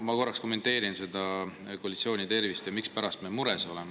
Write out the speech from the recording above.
Ma korraks kommenteerin koalitsiooni tervist ja seda, miks me mures oleme.